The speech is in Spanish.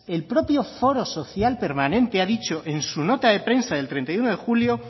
el propio foro social permanente ha dicho en su nota de prensa del treinta y uno de julio